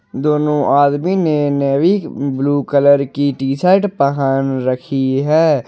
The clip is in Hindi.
दोनों आदमी ने नेवी ब्लू कलर की टी शर्ट पहन रखी है।